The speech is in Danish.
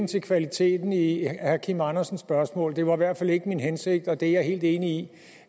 til kvaliteten i i herre kim andersens spørgsmål det var i hvert fald ikke min hensigt og det er jeg helt enig i